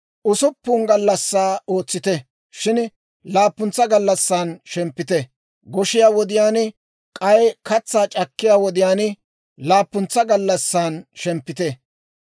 «Usuppun gallassaa ootsite; shin laappuntsa gallassan shemppite; goshiyaa wodiyaan k'ay katsaa c'akkiyaa wodiyaan laappuntsa gallassan shemppite.